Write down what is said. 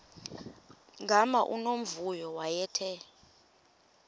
gama unomvuyo wayethe